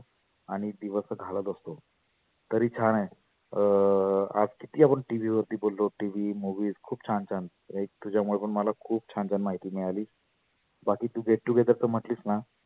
आणि दिवस घालत असतो. तरी छान आहे अं आज किती आपण TV वरती बोललो. TV movies खुप छान छान. एक तुझ्यामुळे मला खुप छान छान माहिती मिळाली. बाकी तु get together च म्हटलीस ना